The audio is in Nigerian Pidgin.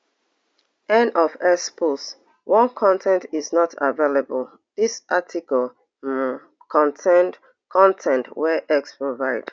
end of x post one con ten t is not available dis article um contain con ten t wey x provide